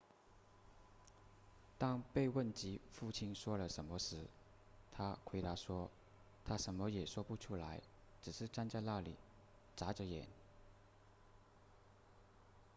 当被问及父亲说了什么时她回答说他什么也说不出来只是站在那里眨着眼